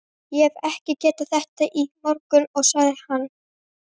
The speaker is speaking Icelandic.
Ég hefði ekki getað þetta í morgun, sagði hann.